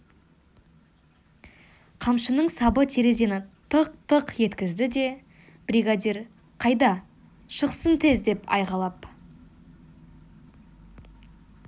қамшының сабы терезені тық-тық еткізді де бригадир қайда шықсын тез деді айқайлап